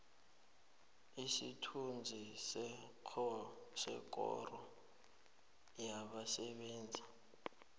isithunzi sekoro yabasebenzi